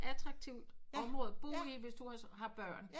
Attraktivt område at bo i hvis du har børn